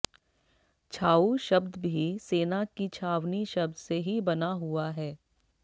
छाऊ शब्द भी सेना की छावनी शब्द से ही बना हुआ है